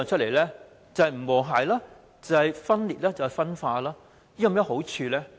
便是不和諧、分裂和分化，這樣做有何好處？